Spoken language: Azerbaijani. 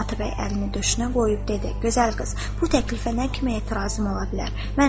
Atabəy əlini döşünə qoyub dedi: Gözəl qız, bu təklifə nə kimi etirazım ola bilər?